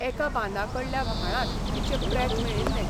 एका बांदाकडल्या व्हाळांत तिचें प्रेत मेळिल्ले.